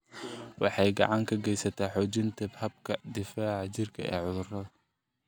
Waxay gacan ka geysataa xoojinta habka difaaca jirka ee cudurrada.